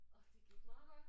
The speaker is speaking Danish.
Og det gik meget godt